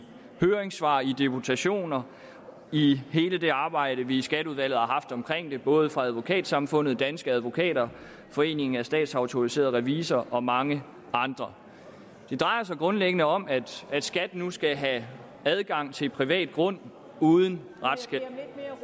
høringssvar i deputationer i hele det arbejde vi i skatteudvalget har haft omkring det både fra advokatsamfundet danske advokater foreningen af statsautoriserede revisorer og mange andre det drejer sig grundlæggende om at skat nu skal have adgang til privat grund uden retskendelse